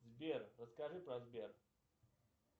сбер расскажи про сбер